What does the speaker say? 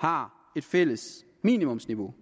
har et fælles minimumsniveau